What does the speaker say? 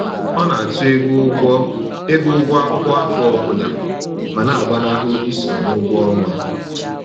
Ọ na àtụ́ ego ụgwọ ego ụgwọ akwụkwọ afọ ọbụla ma na-agbanahụ iso n'ụgwọ ọnwa